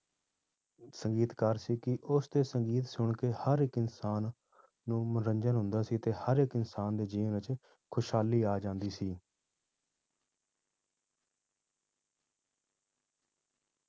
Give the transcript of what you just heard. ਸੰਗੀਤ ਕਾਰ ਸੀ ਕਿ ਉਸਦੇ ਸੰਗੀਤ ਸੁਣਕੇ ਹਰ ਇੱਕ ਇਨਸਾਨ ਨੂੰ ਮਨੋਰੰਜਨ ਹੁੰਦਾ ਸੀ ਤੇ ਹਰ ਇੱਕ ਇਨਸਾਨ ਦੇ ਜੀਵਨ ਵਿੱਚ ਖ਼ੁਸ਼ਹਾਲੀ ਆ ਜਾਂਦੀ ਸੀ।